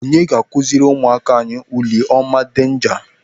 Onye ga-akụziri ụmụaka anyị oliọma denja?